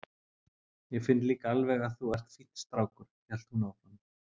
Ég finn líka alveg að þú ert fínn strákur, hélt hún áfram.